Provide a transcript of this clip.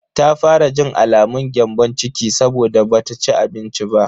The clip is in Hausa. Ta fara jin alamun gyambon ciki saboda bata ci abinci ba.